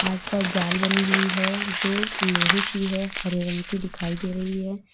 आस पास जाल बनी हुई है जो लोहे की है हरे रंग की दिखाई दे रही है।